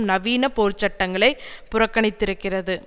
நவீன போர்ச்சட்டங்களை புறக்கணித்திருக்கிறது